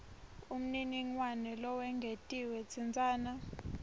umniningwane lowengetiwe tsintsana